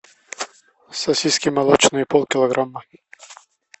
сосиски молочные полкилограмма